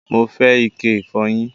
Mo fẹ́ ike ìfọyín